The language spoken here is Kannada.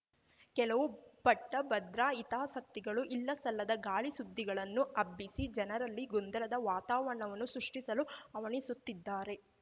ಕೆಲವು ಪಟ್ಟಭದ್ರ ಹಿತಾಸಕ್ತಿಗಳು ಇಲ್ಲಸಲ್ಲದ ಗಾಳಿಸುದ್ದಿಗಳನ್ನು ಹಬ್ಬಿಸಿ ಜನರಲ್ಲಿ ಗೊಂದಲದ ವಾತಾವರಣವನ್ನು ಸೃಷ್ಟಿಸಲು ಹವಣಿಸುತ್ತಿದ್ದಾರೆ